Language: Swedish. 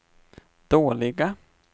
dåliga